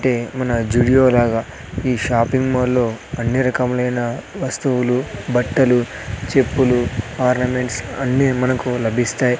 అంటే మన జుడియో లాగా ఈ షాపింగ్ మాల్లో అన్ని రకములైన వస్తువులు బట్టలు చెప్పులు ఆర్నమెంట్స్ అన్నీ మనకు లభిస్తాయి.